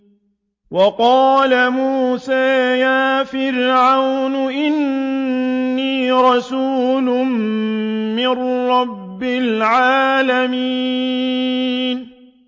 وَقَالَ مُوسَىٰ يَا فِرْعَوْنُ إِنِّي رَسُولٌ مِّن رَّبِّ الْعَالَمِينَ